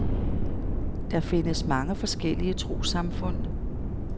Der findes mange forskellige troessamfund.